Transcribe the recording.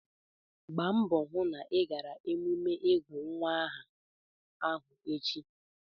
Gbaa mbọ hụ na ị gara emume ịgụ nwa aha ahụ echi!